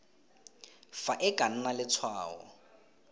fa e ka nna letshwao